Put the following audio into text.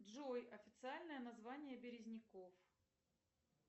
джой официальное название березняков